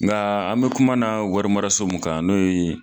Nga an be kuma na wari maras o mun kan, n'o ye